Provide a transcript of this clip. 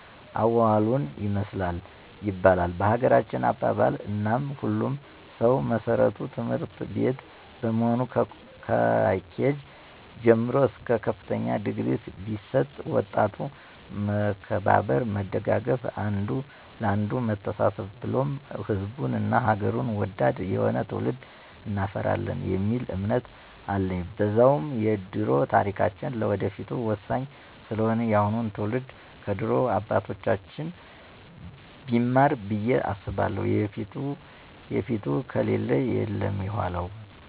አዋዋሉን ይመስላል ይባላል በሀገራችን አባባል፦ እናም የሁሉም ሰዉ መሰረቱ ትምህርትቤት በመሆኑ ከኬጅ ጀምሮ እስከ ከፍተኛ ድግሪ ቢሰጥ ወጣቱ መከባበር፣ መደጋገፍ፣ አንዱ ለአንዱ መተሳሰብን ብሉም ሕዝቡን እና ሐገሩን ወዳድ የሆነ ትዉልድ እናፈራለን የሚል እምነት አለኝ። በዛዉም የደሮ ታሪካችን ለወደፊቱ ወሳኝ ስለሆነ የአሁኑ ትዉልድ ከድሮ አባቶቻችን ቢማር ብየ አስባለሁ የፊቱ ከሌለ የለም የዃላዉ።